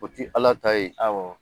O ti Ala ta yen.